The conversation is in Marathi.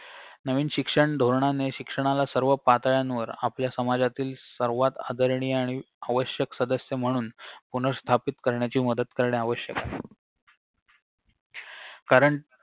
नवीन शिक्षण धोरणाने शिक्षणाला सर्व पातळ्यांवर आपल्या समाजातील सर्वात आदरणीय आणि आवश्यक सदस्य म्हणून पुनःस्थापित करण्याची मदत करणे आवश्यक आहे कारण